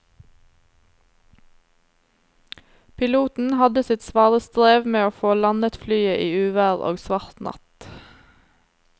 Piloten hadde sitt svare strev med å få landet flyet i uvær og svart natt.